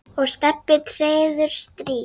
og Stebbi treður strý.